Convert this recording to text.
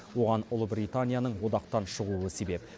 оған ұлыбританияның одақтан шығуы себеп